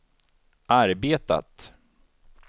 arbetat